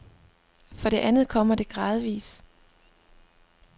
For det andet kommer det gradvis.